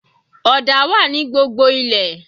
Ọ̀dà wà ní gbogbo ilẹ̀